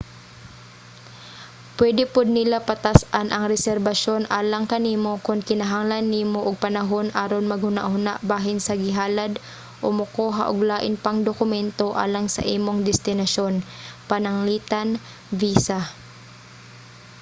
pwede pod nila patas-an ang reserbasyon alang kanimo kon kinahanglan nimo og panahon aron maghunahuna bahin sa gihalad o mokuha ug lain pang dokumento alang sa imong destinasyon pananglitan visa